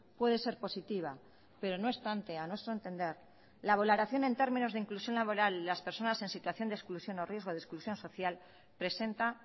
puede ser positiva pero no obstante a nuestro entender la valoración en términos de inclusión laboral y las personas en situación de exclusión o riesgo de exclusión social presenta